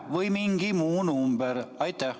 Või mingi muu number?